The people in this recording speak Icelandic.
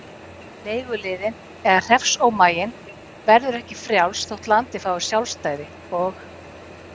Leiguliðinn eða hreppsómaginn verður ekki frjáls þótt landið fái sjálfstæði, og.